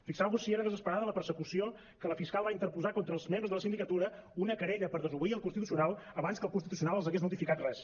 fixeu vos si era desesperada la persecució que la fiscal va interposar contra els membres de la sindicatura una querella per desobeir el constitucional abans que el constitucional els hagués notificat res